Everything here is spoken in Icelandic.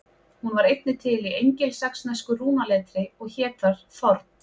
Hún var einnig til í engilsaxnesku rúnaletri og hét þar þorn.